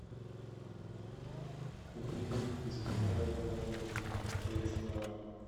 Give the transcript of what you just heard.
купи беспонтового мороженого тридцать килограмм